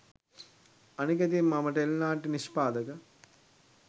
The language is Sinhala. අනික ඉතින් මම ටෙලි නාට්‍ය නිෂ්පාදක